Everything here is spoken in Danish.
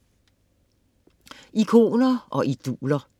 Ikoner og idoler